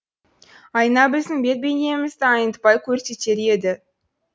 айна біздің бет бейнемізді айнытпай көрсетер еді